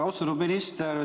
Austatud minister!